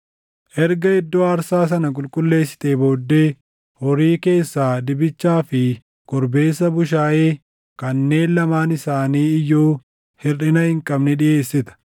Erga iddoo aarsaa sana qulqulleessitee booddee, horii keessaa dibichaa fi korbeessa bushaayee kanneen lamaan isaani iyyuu hirʼina hin qabne dhiʼeessita.